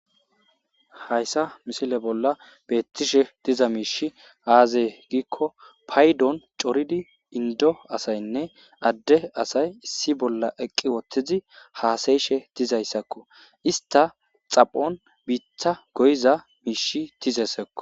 hayssa misile bolla beettishe diza miishi aazee giikko paydon coridi indo asaynne adde asay issi bolla eqqi wothtizi haasayishe tizayssakko ista xaphon biitha goyiza miishi tizaysakko